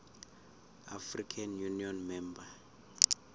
african union member